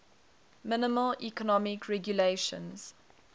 minimal economic regulations